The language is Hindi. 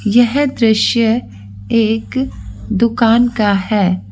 यह दृश्य एक दुकान का है।